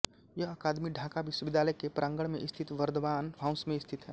यह अकादमी ढाका विश्वविद्यालय के प्रांगण में स्थित बर्दवान हाउस में स्थित है